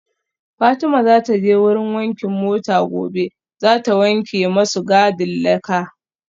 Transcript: Fatima zataje wurin wankin mota gobe zata wanke masu gadin laka